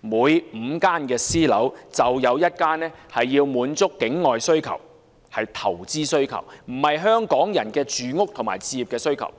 每5個私人單位就有1個用於滿足境外或投資需求，而非用來滿足香港人的住屋和置業需求。